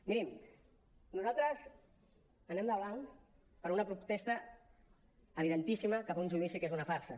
mirin nosaltres anem de blanc per una protesta evidentíssima cap a un judici que és una farsa